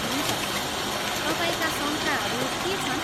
हुन्छ, तपाईँका शङ्काहरू के छन्?